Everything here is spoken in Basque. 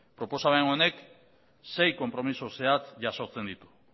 proposamen honek sei konpromezu zehatz jasotzen ditu